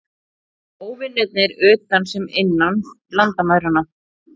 Óvinirnir utan sem innan landamæranna.